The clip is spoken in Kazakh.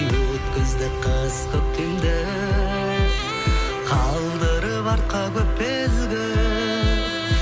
өткізді қыс көктемді қалдырып артқа көп белгі